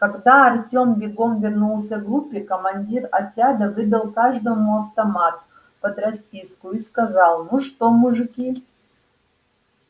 когда артём бегом вернулся к группе командир отряда выдал каждому автомат под расписку и сказал ну что мужики